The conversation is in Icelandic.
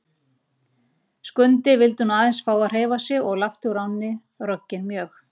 Skundi vildi nú aðeins fá að hreyfa sig og lapti úr ánni, rogginn mjög.